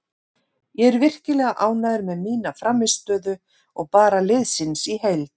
Ég er virkilega ánægður með mína frammistöðu og bara liðsins í heild sinni.